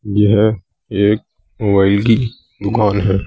यह एक मोबाइल की दुकान है।